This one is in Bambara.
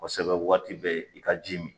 Kosɛbɛ waati bɛɛ i ka ji min.